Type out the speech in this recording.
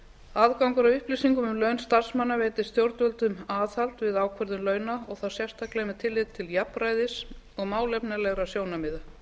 aðgangur að upplýsingum um laun starfsmanna veitir stjórnvöldum aðhald við ákvörðun launa og þá sérstaklega með tilliti til jafnræðis og málefnalegra sjónarmiða